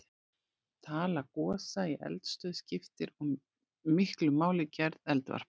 Tala gosa í eldstöð skiptir og miklu máli fyrir gerð eldvarpa.